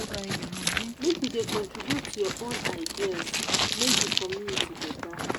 make you dey contribute your your own ideas make di community beta.